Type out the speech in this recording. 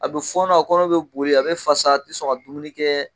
A bɛ fɔɔnɔ a kɔnɔ bɛ boli a bɛ fasa a tɛ sɔn ka dumuni kɛ.